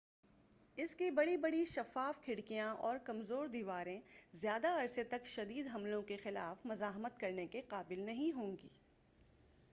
اس کی بڑی بڑی شفاف کھڑکیاں اور کمزور دیواریں زیادہ عرصے تک شدید حملوں کے خلاف مزاحمت کرنے کے قابل نہیں ہوں گی